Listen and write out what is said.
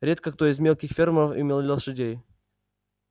редко кто из мелких фермеров имел лошадей